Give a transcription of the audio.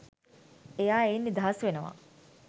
එයා එයින් නිදහස් වෙනවා.